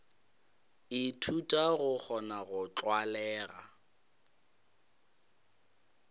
ithuta go kgona go tlwalega